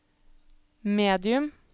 medium